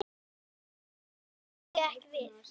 Túlkun þeirra eigi ekki við.